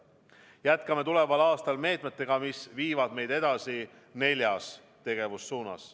Jätkame tuleval aastal meetmetega, mis viivad meid edasi neljas tegevussuunas.